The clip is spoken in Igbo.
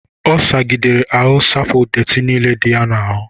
Ọ sagidere ahụ sapụcha dettị nile dị ya n'ahụ.